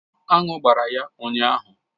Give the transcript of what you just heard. Anụ gbara ya ụnyahụ.